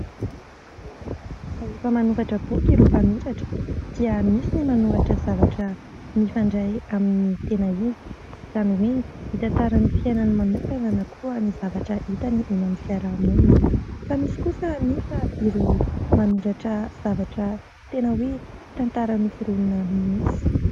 Rehefa manoratra boky ireo mpanoratra dia misy ny manoratra zavatra mifandray amin'ny tena izy, izany hoe mitantara ny fiainany manokana na koa ny zavatra hitany eny amin'ny fiarahamonina. Fa misy kosa anefa ireo manoratra zavatra tena hoe tantara noforonina mihitsy.